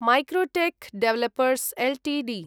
Macrotech developers Ltd